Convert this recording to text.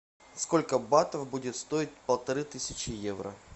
сколько батов будет стоить полторы тысячи евро